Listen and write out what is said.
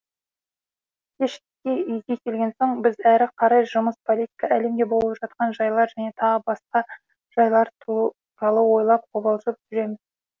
кешке үйге келген соң біз әрі қарай жұмыс политика әлемде болып жатқан жайлар және тағы да басқа жайлар туралы ойлап қобалжып жүреміз